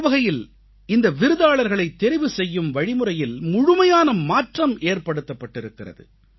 ஒருவகையில் இந்த விருதாளர்களைத் தெரிவு செய்யும் வழிமுறையில் முழுமையான மாற்றம் ஏற்படுத்தப்பட்டிருக்கிறது